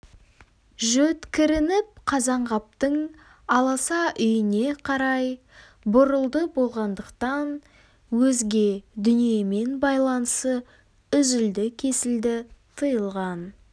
жөткірініп қазанғаптың аласа үйіне қарай бұрылды болғандықтан өзге дүниемен байланысы үзілді-кесілді тыйылған